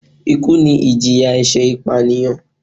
Ikú ni ìjìyà ẹ̀ṣẹ̀ ìpànìyàn